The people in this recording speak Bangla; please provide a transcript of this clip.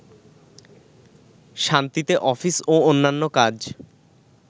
শান্তিতে অফিস ও অন্যান্য কাজ